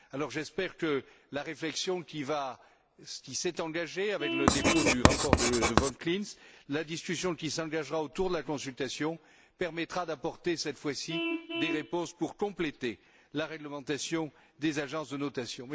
Alors j'espère que, grâce à la réflexion qui s'est engagée avec le dépôt du rapport Wolf Klinz, la discussion qui s'engagera autour de la consultation permettra d'apporter cette fois ci des réponses pour compléter la réglementation des agences de notation.